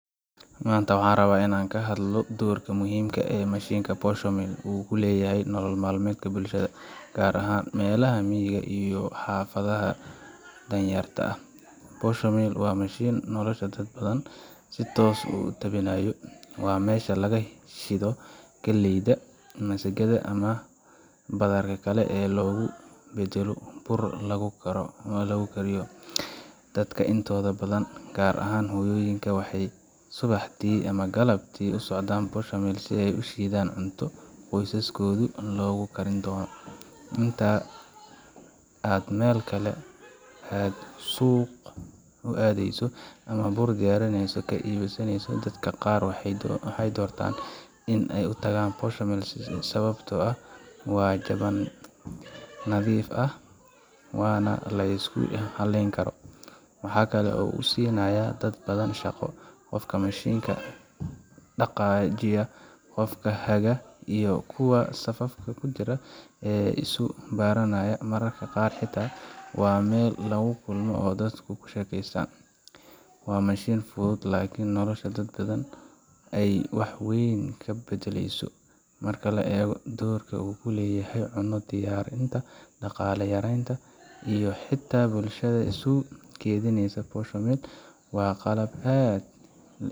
maanta waxaan rabaa inaan ka hadlo doorka muhiimka ah ee mashiinka posho mill uu ku leeyahay nolol maalmeedka bulshada, gaar ahaan meelaha miyiga ama xaafadaha danyarta. posho mill waa mashiin nolosha dad badan si toos ah u taabanaya. Waa meesha laga shiido galleyda, masagada, ama badarka kale si loogu beddelo bur la cuni kariyo. Dadka intooda badan, gaar ahaan hooyooyinka, waxay subaxdii ama galabtii u socdaan posho mill si ay u shiidaan cunto qoysaskooda loogu karin doono. Inta aad meel kale aad suuq u aadeyso ama bur diyaarsan ka iibsaneyso, dadka qaar waxay doortaan in ay u tagaan posho mill sababtoo ah waa jaban, nadiif ah, waana la isku halleyn karo. Waxa kale oo uu siinayaa dad badan shaqo qofka mashiinka dhaqaajiya, qofka haga, iyo kuwa safka ku jira ee isu baranaya. Mararka qaar xitaa waa meel lagu kulmo oo dadku ku sheekaystaan. Waa mashiin fudud, laakiin nolosha dad badan ayuu wax weyn ka beddela. yso Marka la eego doorka uu ku leeyahay cunno diyaarinta, dhaqaale yaraynta, iyo xitaa bulshada isu keenidda, posho mill waa qalab aan la illaawi karin.